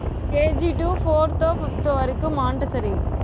KGto fourth ஓ fifth ஓ வரைக்கும் montessori